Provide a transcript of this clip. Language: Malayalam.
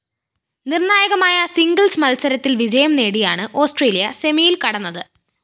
നിര്‍ണായകമായ സിംഗിൾസ്‌ മത്സരത്തില്‍ വിജയം നേടിയാണ് ഓസ്‌ട്രേലിയ സെമിയില്‍ കടന്നത്